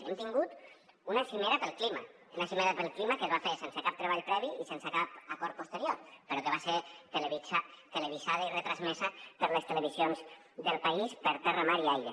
hem tingut una cimera pel clima una cimera pel clima que es va fer sense cap treball previ i sense cap acord posterior però que va ser televisada i retransmesa per les televisions del país per terra mar i aire